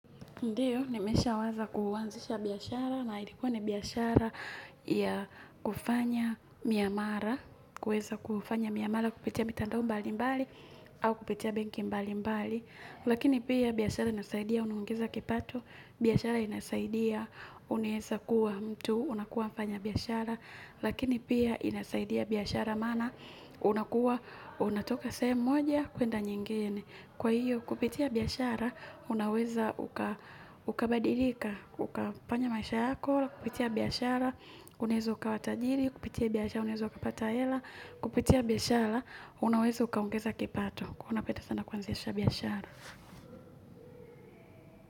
Ndiyo, nimeshaweza kuanzisha biashara na ilikuwa ni biashara ya kufanya miamara, kuweza kufanya miamara kupitia mitandao mbali mbali au kupitia benki mbali mbali. Lakini pia biashara inasaidia, unaongeza kipato, biashara inasaidia, unaeza kuwa mtu, unakuwa mfanya biashara. Lakini pia inasaidia biashara maana, unakuwa, unatoka sehemu moja, kuenda nyingine. Kwa hiyo, kupitia biashara, unaweza ukabadilika, ukafanya maisha yako, kupitia biashara, unaeza ukawa tajiri, kupitia biashara, unaeza kupata hela, kupitia biashara, unaweza ukaongeza kipato. Huwa napenda sana kuanzisha biashara.